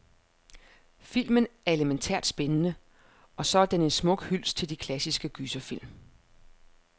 Filmen er elemæntært spændende, og så er den en smuk hyldest til de klassiske gyserfilm.